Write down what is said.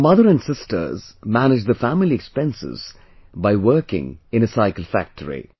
Her mother and sisters manage the family expenses by working in a cycle factory